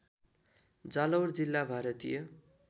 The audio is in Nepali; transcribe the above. जालौर जिल्ला भारतीय